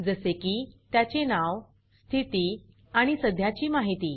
जसे की त्याचे नाव स्थिती आणि सध्याची माहिती